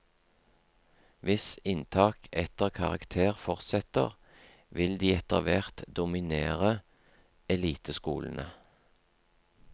Hvis inntak etter karakter fortsetter, vil de etterhvert dominere eliteskolene.